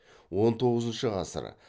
он тоғызыншы ғасыр